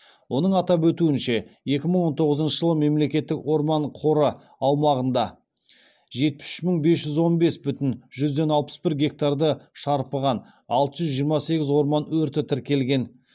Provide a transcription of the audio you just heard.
оның атап өтуінше екі мың он тоғызыншы жылы мемлекеттік орман қоры аумағында жетпіс үш мың бес жүз он бес бүтін жүзден алпыс бір гектарды шарпыған алты жүз жиырма сегіз орман өрті тіркелген